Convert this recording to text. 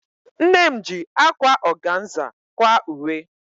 Nne m ji ákwá ọganza kwaa uwe.